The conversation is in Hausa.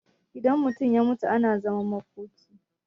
idan mutum ya mutu ana zaman makoki